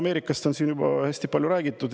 Ameerikast on siin juba hästi palju räägitud.